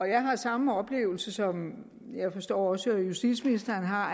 jeg har samme oplevelse som jeg forstår også justitsministeren har